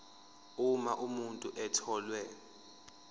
uma umuntu etholwe